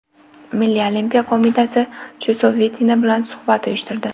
Milliy Olimpiya qo‘mitasi Chusovitina bilan suhbat uyushtirdi.